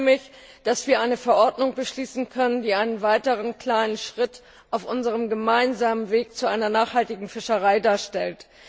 Ich freue mich, dass wir eine Verordnung beschließen können, die einen weiteren kleinen Schritt auf unserem gemeinsamen Weg zu einer nachhaltigen Fischerei darstellt.